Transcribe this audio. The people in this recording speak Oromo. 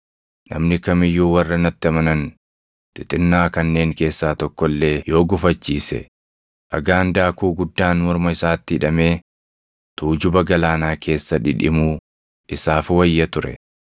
“Namni kam iyyuu warra natti amanan xixinnaa kanneen keessaa tokko illee yoo gufachiise, dhagaan daakuu guddaan morma isaatti hidhamee tuujuba galaanaa keessa dhidhimuu isaaf wayya ture.